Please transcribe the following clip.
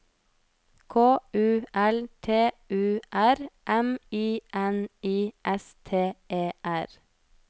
K U L T U R M I N I S T E R